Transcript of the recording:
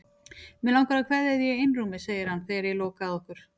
Mig langar að kveðja þig í einrúmi, segir hann þegar ég loka að okkur.